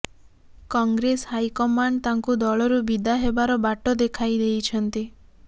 Congress high command ତାଙ୍କୁ ଦଳରୁ ବିଦା ହେବାର ବାଟ ଦେଖାଇ ଦେଇଛନ୍ତି